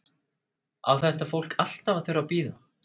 Á þetta fólk alltaf að þurfa að bíða?